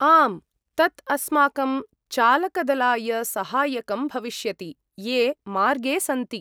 आम्, तत् अस्माकं चालकदलाय सहायकं भविष्यति ये मार्गे सन्ति।